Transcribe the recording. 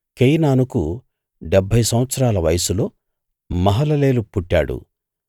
కేయినానుకు డెబ్భై సంవత్సరాల వయస్సులో మహలలేలు పుట్టాడు